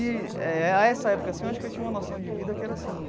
E eh, a essa época assim, eu acho que eu tinha uma noção de vida que era assim,